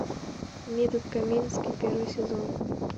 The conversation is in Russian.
метод комински первый сезон